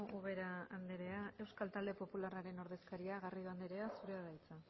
ubera andrea euskal talde popularraren ordezkaria garrido andrea zurea da hitza